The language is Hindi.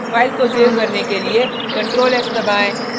फाइल को सेव करने के लिए ctrl + s दबाएँ